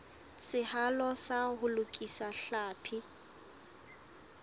seahelo sa ho lokisa tlhapi